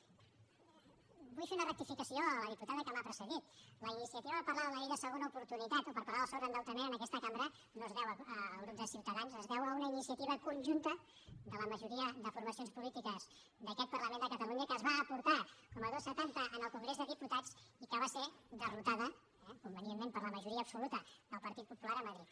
vull fer una rectificació a la diputada que m’ha precedit la iniciativa de parlar de la llei de segona oportunitat o per parlar de sobreendeutament en aquesta cambra no es deu al grup de ciutadans es deu a una iniciativa conjunta de la majoria de formacions polítiques d’aquest parlament de catalunya que es va portar com a dos cents i setanta al congrés dels diputats i que va ser derrotada eh convenientment per la majoria absoluta del partit popular a madrid